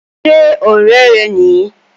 Ṣé ọ̀rẹ́ rẹ ni?